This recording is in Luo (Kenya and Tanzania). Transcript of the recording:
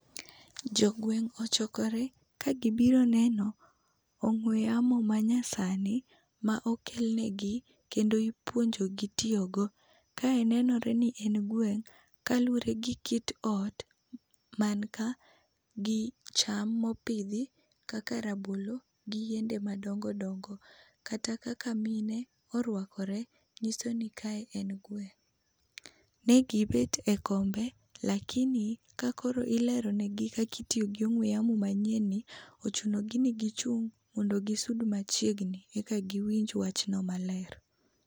Jo gweng' ochokore ka gibiro neno ong'we yamo manyasani ma okelnegi kendo ipuonjogi tiyogo. Kae nenore ni en gweng' kaluwore gi kit ot man ka gi cham mopidhi kaka rabolo gi yiende madongo dongo. Kata kaka mine oruakore, nyiso ni kae en gweng'. Ne gibet ekombe lakini ka koro ilero negi kaka itiyo gi ong'we yamo manyien ni, ochuno gi ni gichung mondo gisud machiegni eka giwinj wachno maler.